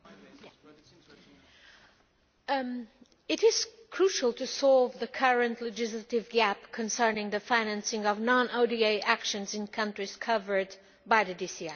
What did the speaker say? Mr President, it is crucial to solve the current legislative gap concerning the financing of non ODA actions in countries covered by the DCI.